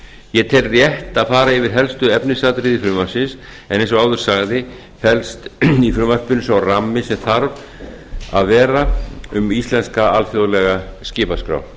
ég tel rétt að fara yfir helstu efnisatriði frumvarpsins en eins og áður sagði felst í frumvarpinu sá rammi sem þarf að vera um íslenska alþjóðlega skipaskrá